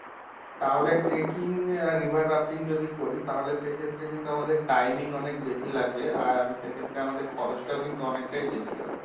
তাহলে tracking আর river rafting যদি করি তাহলে সেক্ষেত্রে কিন্তু আমাদের timing অনেক বেশি লাগবে আর সেক্ষেত্রে আমাদের খরচটাও কিন্তু অনেকটাই বেশি হবে।